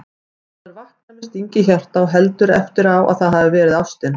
Maður vaknar með sting í hjarta og heldur eftir á að það hafi verið ástin